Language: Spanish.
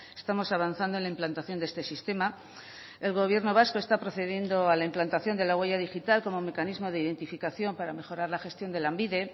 estamos avanzando en la implantación de este sistema el gobierno vasco está procediendo a la implantación de la huella digital como mecanismo de identificación para mejorar la gestión de lanbide